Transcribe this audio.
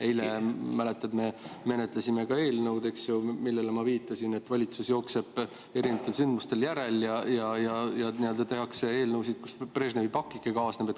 Eile, mäletad, me menetlesime ka eelnõu, mille puhul ma viitasin, et valitsus jookseb erinevatel sündmustel järel ja tehakse eelnõusid, millega Brežnevi pakike kaasneb.